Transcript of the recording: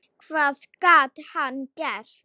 Hvað gat hann gert?